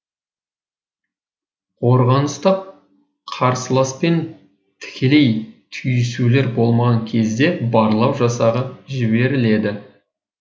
қорғаныста қарсыласпен тікелей түйісулер болмаған кезде барлау жасағы жіберіледі